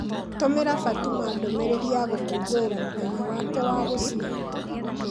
Tũmĩra Fatuma ndũmĩrĩri ya gũkũngũĩra mũthenya wake wa gũciarwo